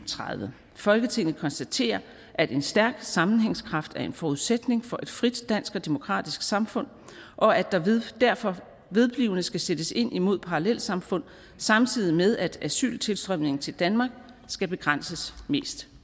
og tredive folketinget konstaterer at en stærk sammenhængskraft er en forudsætning for et frit dansk og demokratisk samfund og at der derfor vedblivende skal sættes ind imod parallelsamfund samtidig med at asyltilstrømningen til danmark skal begrænses mest